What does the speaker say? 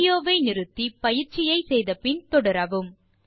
video வை நிறுத்தி பயிற்சியை முடித்த பின் தொடரவும்